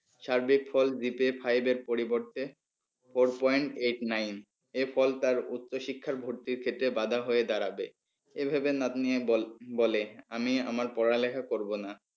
সার্বিক ফল five এর পরিবর্তে four point eight nine এ ফল তার উচ্চ শিক্ষার ভর্তির ক্ষেত্রে বাঁধা হয়ে দাঁড়াবে এ ভেবে নাতনি আর বল বলে আমি আমার পড়ালেখা করবো না।